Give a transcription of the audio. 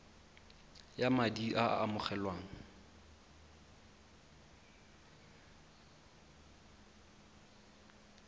ya madi a a amogelwang